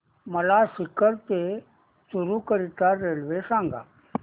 मला सीकर ते चुरु करीता रेल्वे सांगा